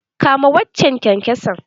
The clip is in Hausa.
Kama waccan kyankyason!